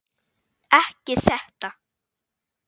Ekki þetta.